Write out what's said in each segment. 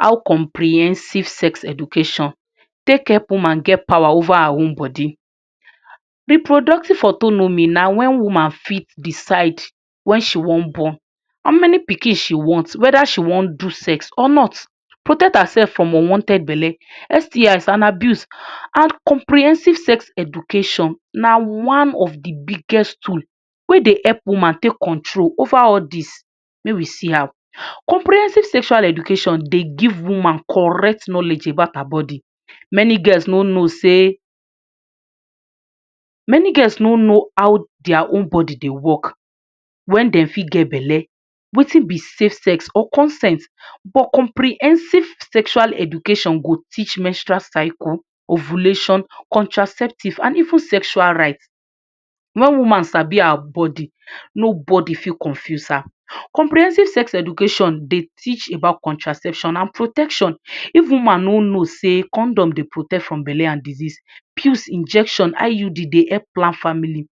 How comprehensive sex education take help woman get pawa over her own body. Reproductive autonomy na whe woman fit decide when she wan born, how many pikin she want, weda she wan do sex or not, protect herself from unwanted bele, STIs and abuse. And comprehensive sex education na one of de biggest tool wey dey help woman take control over all dis. Make we see how. Comprehensive sexual education dey give woman correct knowledge about her body. Many girls no know sey, many girls no know how dia own body dey work, when dem fit get bele, wetin be safe sex or consent. But comprehensive sexual education go teach menstrual cycle, ovulation, contraceptive, and even sexual right. When woman sabi her body, nobody fit confuse her. Comprehensive sex education dey teach about contraception and protection. If woman no know sey condom dey protect from bele and disease; pills, injection, IUD dey help plan family,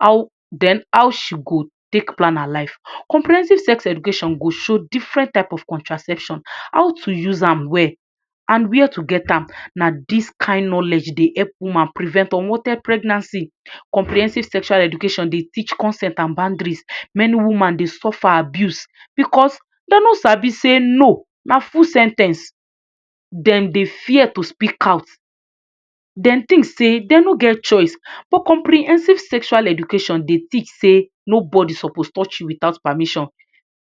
how den how she go take plan her life? Comprehensive sex education go show different type of contraception, how to use am well, and where to get am. Na dis kain knowledge dey help woman prevent unwanted pregnancy. Comprehensive sexual education dey teach consent and boundaries. Many woman dey suffer abuse because dem no sabi sey “No” na full sen ten ce. Dem dey fear to speak out. Dem think sey dem no get choice. But comprehensive sexual education dey teach sey nobody suppose touch you without permission.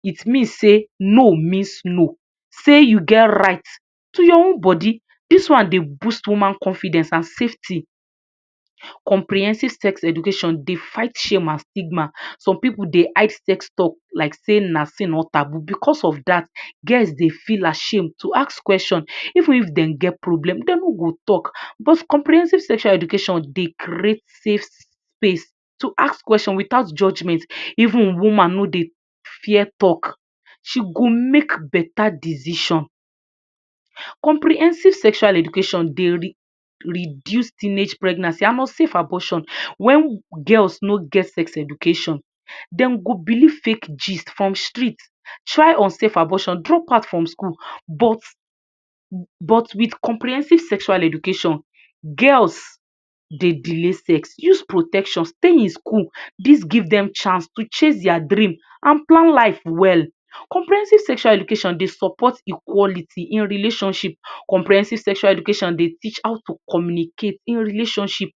It mean sey no means no, sey you get right to your own body. Dis one dey boost woman confidence and safety. Comprehensive sex education dey fight shame and stigma. Some pipu dey hide sex talk like sey na sin or taboo. Because of dat, girls dey feel ashamed to ask kweshon. Even if dem get problem, dem no go talk. But comprehensive sexual education dey create safe space to ask kweshon without judgement. Even woman no dey fear talk. She go make beta decision. Comprehensive sexual education dey re reduce teenage pregnancy and unsafe abortion. When girls no get sex education, dem go believe fake gist from street, try unsafe abortion, drop out from school. But but with comprehensive sexual education girls dey delay sex, use protection, stay in school. Dis give dem chance to chase dia dream and plan life well. Comprehensive sexual education dey support equality in relationship. Comprehensive sexual education dey teach how to communicate in relationship,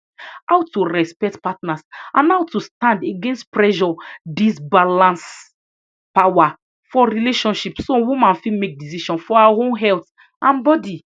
how to respect partners, and how to stand against pressure. Dis balance pawa for relationship, so woman fit make decision for her own health and body.